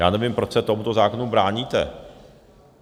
Já nevím, proč se tomuto zákonu bráníte?